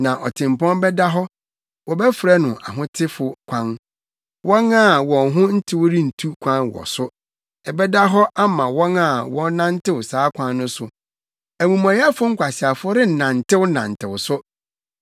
Na ɔtempɔn bɛda hɔ; wɔbɛfrɛ no Ahotefo Kwan. Wɔn a wɔn ho ntew rentu kwan wɔ so; ɛbɛda hɔ ama wɔn a wɔnantew saa Kwan no so; amumɔyɛfo nkwaseafo rennantenantew so.